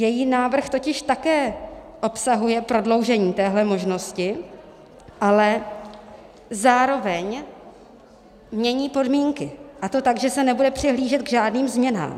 Její návrh totiž také obsahuje prodloužení téhle možnosti, ale zároveň mění podmínky, a to tak, že se nebude přihlížet k žádným změnám.